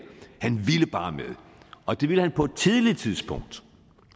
han ville bare med og det ville han på et tidligt tidspunkt